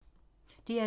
DR2